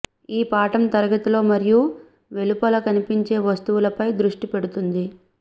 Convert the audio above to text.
ఈ పాఠం తరగతిలో మరియు వెలుపల కనిపించే వస్తువులపై దృష్టి పెడుతుంది